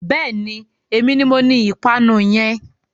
Bẹ́ẹ̀ni, èmi ni moní ìpanu yẹn.